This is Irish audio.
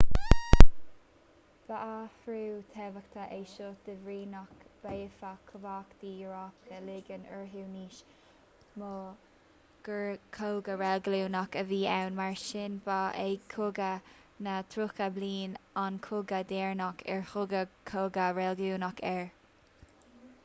ba athrú tábhachtach é seo de bhrí nach bhféadfadh cumhachtaí eorpacha ligean orthu níos mó gur cogadh reiligiúnach a bhí ann mar sin ba é cogadh na dtríocha bliain an cogadh deireanach ar tugadh cogadh reiligiúnach air